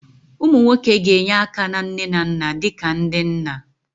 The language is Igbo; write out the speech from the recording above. Ụmụ nwoke ga-enye aka na nne na nna dị ka ndị nna